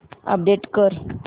update कर